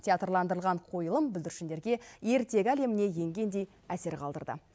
театрландырылған қойылым бүлдіршіндерге ертегі әлеміне енгендей әсер қалдырды